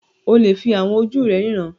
O lè fi àwọn ojú rẹ ríran